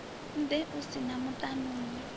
ḓe u si na vhaṱanuni